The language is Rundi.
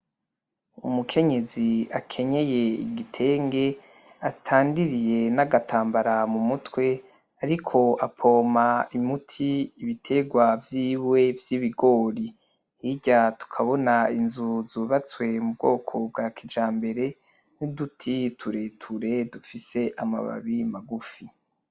Umukenyezi akenye igitenge, atandiriye n’agatambara mu mutwe, ariko apoma imiti ibitegwa biwe vy’ibigori. Hirya tukabona inzu zubatswe mu bwoko bwa kijambere n’uduti tureture dufise amababi magufi.